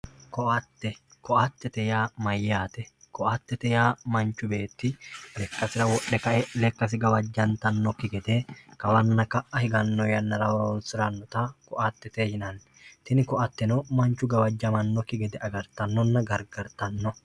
koatte koattete yaa mayyate koattete yaa mnchu beetti lekkasira wodhe kae lekkasi gawajjantannoki gede kawanna ka'ahiganno yannara horoonsirannota koatttete yinanni tini koateno manchu gawajjamannokki gede agartannona gargartanno